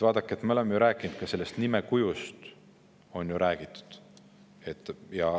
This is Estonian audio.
Vaadake, ka sellest nimekujust on ju räägitud.